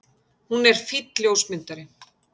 Hún er fínn ljósmyndari.